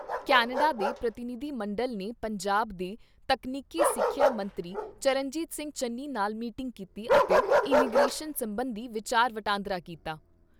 Canada ਦੇ ਪ੍ਰਤੀਨਿਧ ਮੰਡਲ ਨੇ ਪੰਜਾਬ ਦੇ ਤਕਨੀਕੀ ਸਿੱਖਿਆ ਮੰਤਰੀ ਚਰਨਜੀਤ ਸਿੰਘ ਚੰਨੀ ਨਾਲ ਮੀਟਿੰਗ ਕੀਤੀ ਅਤੇ ਇਮੀਗਰੇਸ਼ਨ ਸਬੰਧੀ ਵਿਚਾਰ ਵਟਾਂਦਰਾ ਕੀਤਾ।